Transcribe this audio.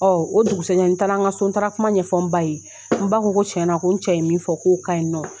Ɔ o dugusɛjɛ in taara n ka so, n taara kuma ɲɛfɔ n ba ye, n b'a ko ko ciɲɛna ko n cɛ ye min fɔ k'u ka ɲi nɔ.